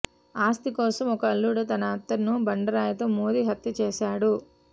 ఆస్తి కోసం ఓ అల్లుడు తన అత్తను బండరాయితో మోదీ హత్య చేశాడు